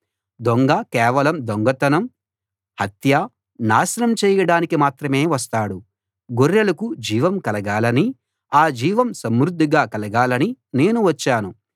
దొంగ కేవలం దొంగతనం హత్య నాశనం చెయ్యడానికి మాత్రమే వస్తాడు గొర్రెలకు జీవం కలగాలని ఆ జీవం సమృద్ధిగా కలగాలని నేను వచ్చాను